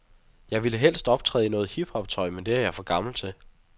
Jeg ville helst optræde i noget hip hoptøj, men det er jeg for gammel til.